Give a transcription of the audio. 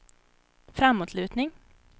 framåtlutning